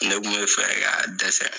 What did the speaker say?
Ne kun be fɛ ka dɛsɛ